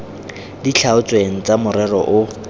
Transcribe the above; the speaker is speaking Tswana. di tlhaotsweng tsa morero o